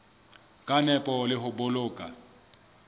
ka nepo le ho boloka